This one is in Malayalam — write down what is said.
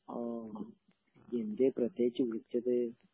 എന്തേ പ്രത്യേകിച്ച് വിളിച്ചത്?